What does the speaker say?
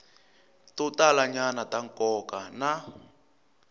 to talanyana ta nkoka na